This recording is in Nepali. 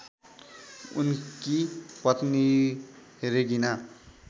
उनकी पत्नी रेगिना